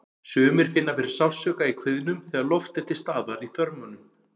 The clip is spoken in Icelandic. Sumir finna fyrir sársauka í kviðnum þegar loft er til staðar í þörmunum.